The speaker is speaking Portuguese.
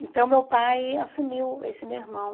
Então, meu pai assumiu esse meu irmão.